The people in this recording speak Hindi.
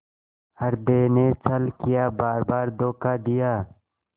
हृदय ने छल किया बारबार धोखा दिया